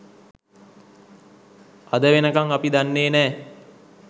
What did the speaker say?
අද වෙනකම් අපි දන්නේ නෑ